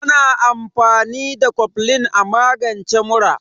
Ana amfani da koflin a magance mura.